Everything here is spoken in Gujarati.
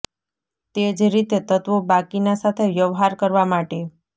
તે જ રીતે તત્વો બાકીના સાથે વ્યવહાર કરવા માટે